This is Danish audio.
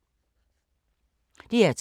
DR2